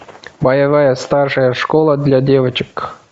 боевая старшая школа для девочек